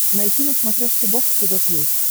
найти на смотрешке бокс тв плюс